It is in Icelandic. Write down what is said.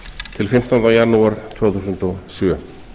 til fimmtánda janúar tvö þúsund og sjö